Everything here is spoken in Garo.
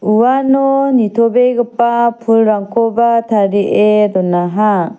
uano nitobegipa pulrangkoba tarie donaha.